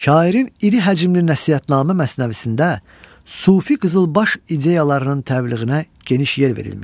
Şairin iri həcmli nəsihətnamə məsnəvisində sufi qızılbaş ideyalarının təbliğinə geniş yer verilmişdir.